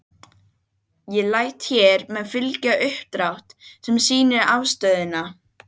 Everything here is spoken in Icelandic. En þessháttar framtak kvað einfaldlega kallast sjálfsbjargarviðleitni á máli sæfara!